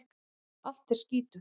Allt er skítugt.